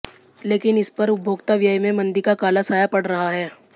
लेकिन इस पर उपभोक्ता व्यय में मंदी का काला साया पड़ रहा है